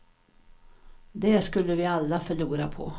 Det skulle vi alla förlora på.